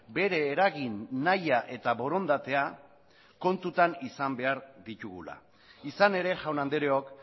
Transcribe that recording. bere eragin nahia eta borondatea kontutan izan behar ditugula izan ere jaun andreok